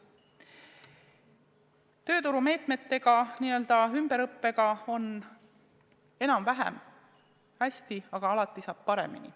Tööturumeetmetega, n-ö ümberõppega on enam-vähem hästi, aga alati saab paremini.